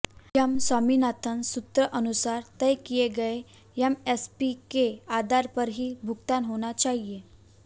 M Swaminathan सूत्र अनुसार तय किए गए एमएसपी के आधार पर ही भुगतान होना चाहिए